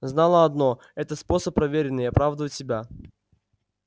знала одно это способ проверенный и оправдывает себя